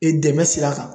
E dɛmɛ sira kan